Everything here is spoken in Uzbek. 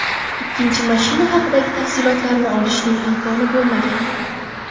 Ikkinchi mashina haqidagi tafsilotlarni olishning imkoni bo‘lmagan.